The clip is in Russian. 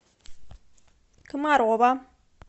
комарова